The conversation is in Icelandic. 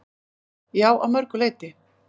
Já, að mörgu leyti.